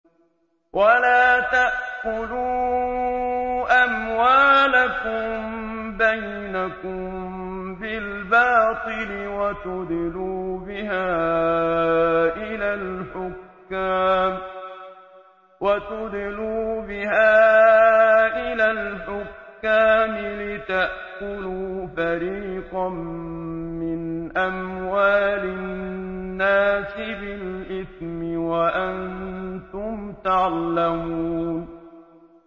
وَلَا تَأْكُلُوا أَمْوَالَكُم بَيْنَكُم بِالْبَاطِلِ وَتُدْلُوا بِهَا إِلَى الْحُكَّامِ لِتَأْكُلُوا فَرِيقًا مِّنْ أَمْوَالِ النَّاسِ بِالْإِثْمِ وَأَنتُمْ تَعْلَمُونَ